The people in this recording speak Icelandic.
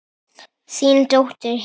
Þín dóttir, Hildur.